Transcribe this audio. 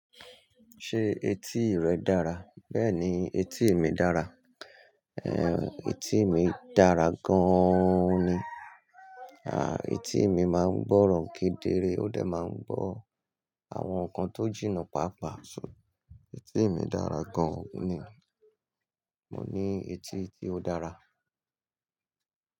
Ṣé etí rẹ dára? Bẹ́ẹ̀ni, etí mi dára. Ehn, etí mi dára gaaan ni. Aah, etí mi máa ń gbọ́ràn kedere, ó dẹ̀ máa ń gbọ́ àwọn nǹkan tó jìnnà pàápàá. So, etí mi dára gan-an ni. Mò ní etí tí ó dára.